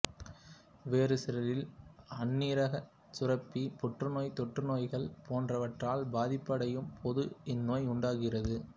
வேறு சிலரில் அண்ணீரகச் சுரப்பி புற்றுநோய் தொற்றுநோய்கள் போன்றவற்றால் பாதிப்படையும்போது இந்நோய் உண்டாகுகின்றது